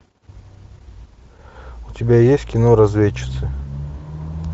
у тебя есть кино разведчицы